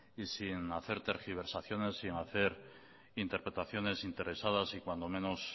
y sin hacer tergiversaciones y sin hacer interpretaciones interesadas y